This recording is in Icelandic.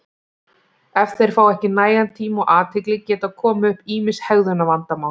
ef þeir fá ekki nægan tíma og athygli geta komið upp ýmis hegðunarvandamál